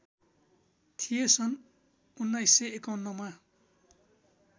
थिए सन् १९५१ मा